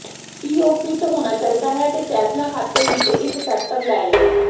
ਕੀ ਉਹ ਫਿੱਟ ਹੋਣਾ ਚਾਹੀਦਾ ਹੈ ਤੇ ਫੈਸਲਾ ਖਾਤੇ ਵਿੱਚ ਇਸ ਫੈਕਟਰ ਲੈਣ ਲਈ